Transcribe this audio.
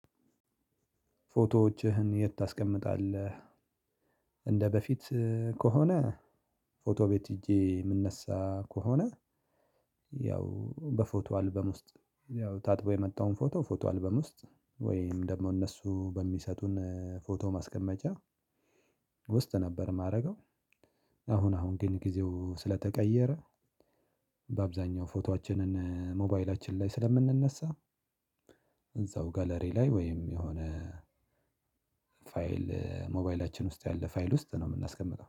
ፎቶዎችህን የት ታስቀምጣለህ? እንደበፊት ከሆነ ፎቶ ቤት ሒጄ የምነሳ ከሆነ ያው በፎቶ አልበም ውስጥ ያው ታጥቦ የመጣውን ፎቶ አልበም ውስጥ ወይም ደግሞ እነሱ በሚሰጡን ፎቶ ማስቀመጫ ውስጥ ነበር የማደርገው። አሁን አሁን ግን ጊዜው ስለተቀየረ በአብዛኛው ፎቶአችንን ሞባይላችን ላይ ስለምንነሳ። እዛው ጋለሪ ላይ ወይም የሆነ ፋይል ሞባይላችን ውስጥ ያለ ፋይል ውስጥ ነው የምናስቀምጠው